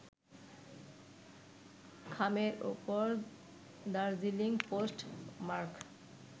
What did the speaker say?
খামের উপর Darjeeling post mark